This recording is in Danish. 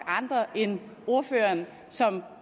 andre end ordføreren som